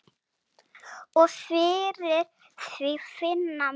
Og fyrir því finna menn.